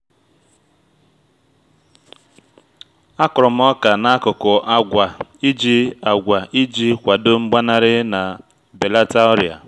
a kụrụ m oka n'akụkụ agwa iji agwa iji kwado mgbanarị ma belata ọrịa